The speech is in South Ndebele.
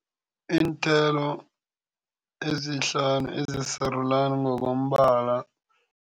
Iinthelo ezihlanu ezisarulani ngokombala.